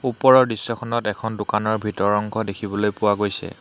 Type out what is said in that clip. ওপৰৰ দৃশ্যখনত এখন দোকানৰ ভিতৰৰ অংশ দেখিবলৈ পোৱা গৈছে।